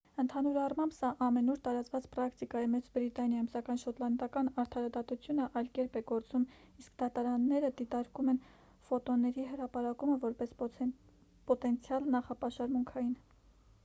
ընդհանուր առմամբ սա ամենուր տարածված պրակտիկա է մեծ բրիտանիայում սակայն շոտլանդական արդարադատությունը այլ կերպ է գործում իսկ դատարանները դիտարկում են ֆոտոների հրապարակումը որպես պոտենցիալ նախապաշարմունքային